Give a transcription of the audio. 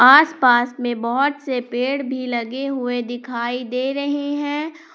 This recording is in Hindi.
आस पास मे बहुत से पेड़ भी लगे हुएं दिखाई दे रहे हैं ।